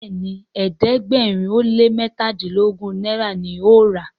Béèni ẹ̀ẹ́dẹ̀gbẹ̀rin o lẹ mẹtadilogun náírà ní o rà.